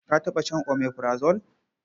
Ka taɓa shan omeprazole?